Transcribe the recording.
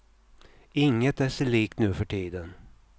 Inget är sig likt nu för tiden.